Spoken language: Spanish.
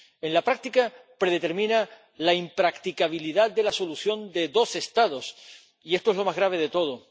En la práctica, predetermina la impracticabilidad de la solución de los dos Estados, y esto es lo más grave de todo.